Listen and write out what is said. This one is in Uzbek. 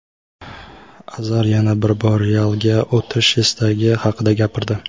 Azar yana bir bor "Real"ga o‘tish istagi haqida gapirdi.